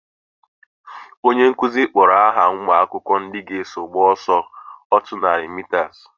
Onye nkụzi kpọrọ aha umuakwukwo ndị ga eso gba ọsọ otú nari mitas